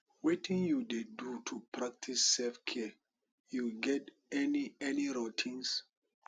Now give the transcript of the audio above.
wetin you dey do to practice selfcare you get any any routines